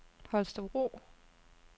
Holstebro